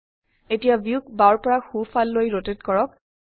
এতিয়া ভিউক বাওৰ পৰা সো ফাল লৈ ৰোটেট কৰক